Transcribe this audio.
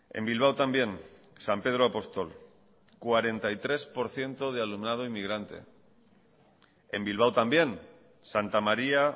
en bilbao también san pedro apóstol cuarenta y tres por ciento de alumnado inmigrante en bilbao también santa maría